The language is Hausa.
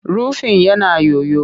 Rufin yana yoyo